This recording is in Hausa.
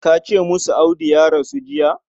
Ka ce musu Audu ya rasu jiya.